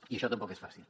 i això tampoc és fàcil